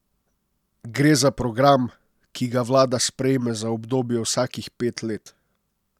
Gre za program, ki ga vlada sprejme za obdobje vsakih pet let.